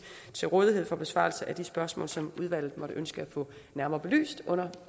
til rådighed for besvarelse af de spørgsmål som udvalget måtte ønske at få nærmere belyst under